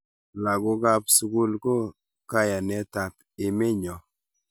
Lakokap sukul ko kayanetap emenyo